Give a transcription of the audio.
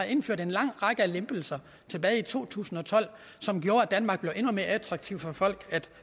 indførte en lang række lempelser tilbage i to tusind og tolv som gjorde at danmark blev endnu mere attraktivt for folk at